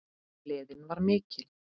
Gleðin var mikil.